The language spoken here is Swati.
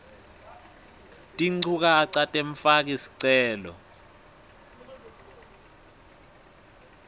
tinchukaca temfaki sicelo